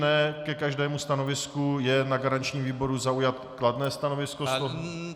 Ne ke každému stanovisku je na garančním výboru zaujato kladné stanovisko -